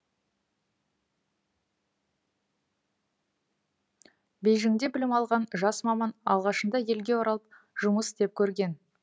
бейжіңде білім алған жас маман алғашында елге оралып жұмыс істеп көрген